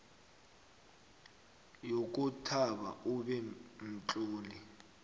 yokobana ube mtlolo